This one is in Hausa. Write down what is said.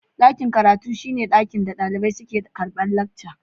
Daƙin karatun shine inɗa daliɓai suke karɓar leckcas.